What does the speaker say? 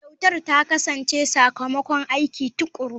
Kyautar ta kasance sakamakon aiki tuƙuru.